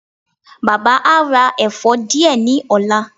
Baba a ra ẹfọ diẹ ni ọla